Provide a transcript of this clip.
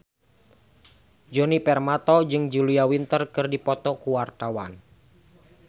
Djoni Permato jeung Julia Winter keur dipoto ku wartawan